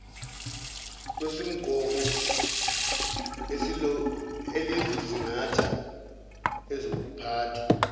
kwesumgomo elizosingatha ezokuphathwa